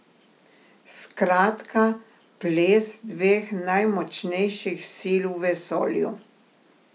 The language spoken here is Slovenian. Skratka ples dveh najmočnejših sil v vesolju.